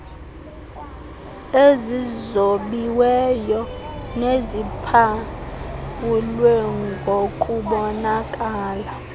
ezizobiweyo neziphawulwe ngokubonakala